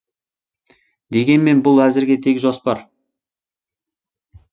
дегенмен бұл әзірге тек жоспар